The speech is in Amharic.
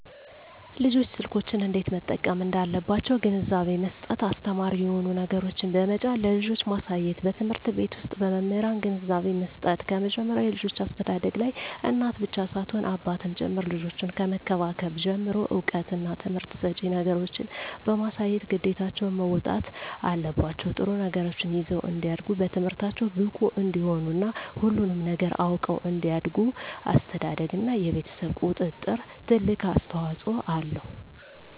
ልጆች ስልኮችን እንዴት መጠቀም እንዳለባቸዉ ግንዛቤ መስጠት አስተማሪ የሆኑ ነገሮችን በመጫን ለልጆች ማሳየትበትምህርት ቤት ዉስጥ በመምህራን ግንዛቤ መስጠት ከመጀመሪያዉ የልጆች አስተዳደግላይ እናት ብቻ ሳትሆን አባትም ጭምር ልጆችን ከመንከባከብ ጀምሮ እዉቀትና ትምህርት ሰጭ ነገሮችን በማሳየት ግዴታቸዉን መወጣት አለባቸዉ ጥሩ ነገሮችን ይዘዉ እንዲያድጉ በትምህርታቸዉ ብቁ እንዲሆኑ እና ሁሉንም ነገር አዉቀዉ እንዲያድጉ አስተዳደርግ እና የቤተሰብ ቁጥጥር ትልቅ አስተዋፅኦ አለዉ